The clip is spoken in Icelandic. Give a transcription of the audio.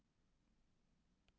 Gera það sem rétt er.